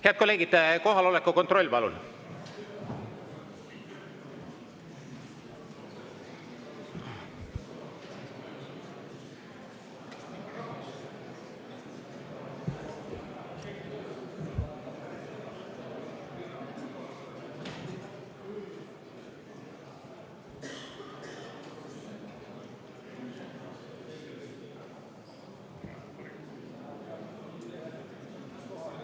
Head kolleegid, kohaloleku kontroll, palun!